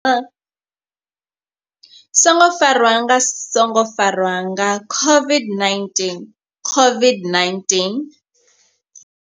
Songo farwa nga songo farwa nga COVID-19 COVID-19.